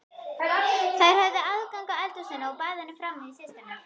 Þær höfðu aðgang að eldhúsinu og baðinu frammi, systurnar.